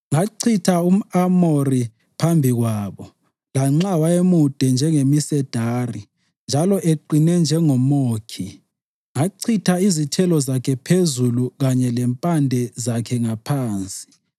Ngachitha umʼAmori phambi kwabo, lanxa wayemude njengemisedari njalo eqine njengomʼokhi. Ngachitha izithelo zakhe phezulu kanye lempande zakhe ngaphansi.